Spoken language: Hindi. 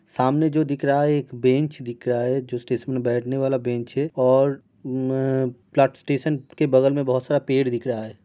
सामने जो दिख रहा है वो एक बेंच दिख रहा है जो स्टेशन में बेठने वाला बेंच है और म अ स्टेशन के बगल में बोहोत सारा पेड़ दिख रहा है।